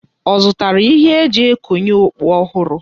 Ọ zụtara ihe e ji ekonye okpu ọhụrụ?